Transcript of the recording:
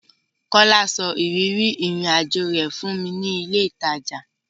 Kọ́lá sọ ìrírí ìrìn-àjọ rẹ̀ fún mi ní ilé-ìtajà.